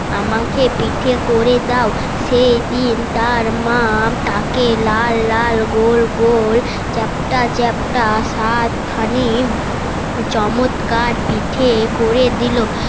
আমাকে পিঠে করে দাও সেদিন তার মা তাকে লাল লাল গোল গোল চ্যাপটা চ্যাপটা সাত খানি চমৎকার পিঠে করে দিলো